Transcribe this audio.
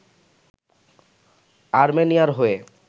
আর্মেনিয়ার হয়ে